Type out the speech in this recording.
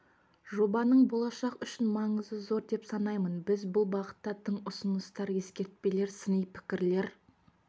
жобаның болашақ үшін маңызы зор деп санаймын біз бұл бағытта тың ұсыныстар ескертпелер сыни пікірлер